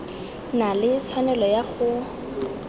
na le tshwanelo ya go